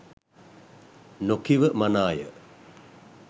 නොකිව මනාය.